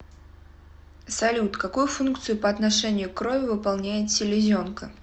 салют какую функцию по отношению к крови выполняет селезенка